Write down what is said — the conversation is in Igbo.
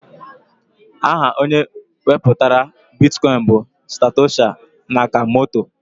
Aha onye wepụtara bitkọin bụ Satoshi Nakamoto.